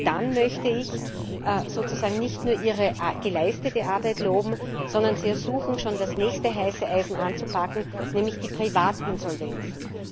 Dann möchte ich sozusagen nicht nur Ihre geleistete Arbeit loben, sondern Sie ersuchen, schon das nächste heiße Eisen anzupacken, nämlich die Privatinsolvenzen.